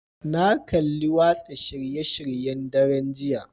Na kalli watsa shirye-shiryen daren jiya